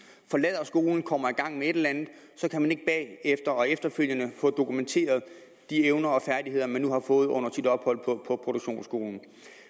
forlader skolen og kommer i gang med et eller andet så kan man ikke bagefter og efterfølgende få dokumenteret de evner og færdigheder man nu har fået under sit ophold på produktionsskolen